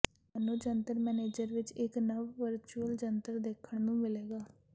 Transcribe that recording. ਤੁਹਾਨੂੰ ਜੰਤਰ ਮੈਨੇਜਰ ਵਿੱਚ ਇੱਕ ਨਵ ਵਰਚੁਅਲ ਜੰਤਰ ਦੇਖਣ ਨੂੰ ਮਿਲੇਗਾ